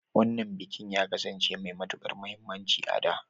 Wannan bikin ya kasance mai matukar muhimmanci a da.